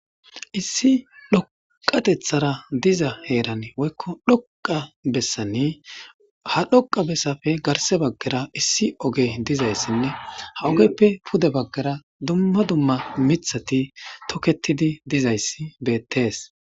issi dhoqatethara diza heeran woykko dhoqa bessani ha dhoqa bessafe garse baggara issi ogey dizayssinne ha ogeppe pude baggara dumma dumma mithati toketidi dizayssi bettees.